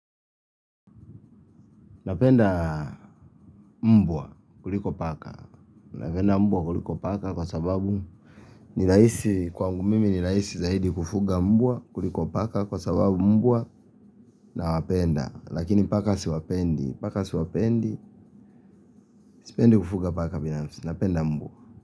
Napenda mbwa kuliko paka. Napenda mbwa kuliko paka kwa sababu ni rahisi kwangu mimi ni rahisi zaidi kufuga mbwa kuliko paka kwa sababu mbwa nawapenda. Lakini paka siwapendi, paka siwapendi, sipendi kufuga paka binafsi napenda mbwa.